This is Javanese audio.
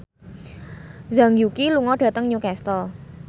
Zhang Yuqi lunga dhateng Newcastle